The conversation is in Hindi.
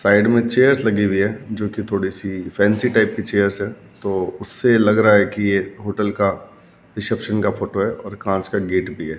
साइड में चेयर्स लगी हुई है जोकि थोड़ी सी फैंसी टाइप की चेयर्स हैं तो उससे लग रहा है कि ये होटल का रिसेप्शन का फोटो है और कांच का गेट भी है।